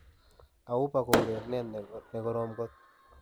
Auba ko urenenindet nekorom kot.